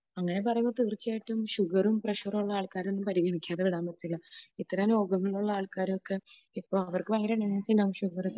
അങ്ങനെ പറയുമ്പോൾ തീർച്ചയായിട്ടും ഷുഗറും പ്രഷറും ഉള്ള ആൾക്കാരെ പരിഗണിക്കാതെ വിടാൻ പറ്റത്തില്ല. ഇത്തരം രോഗങ്ങൾ ഉള്ള ആൾക്കാരൊക്കെ ഇപ്പോൾ അവർക്ക് ഭയങ്കര ഷുഗറും